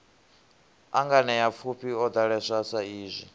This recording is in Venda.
a nganeapfufhi o ḓalesa saizwi